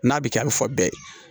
N'a bɛ kɛ a bɛ fɔ bɛɛ ye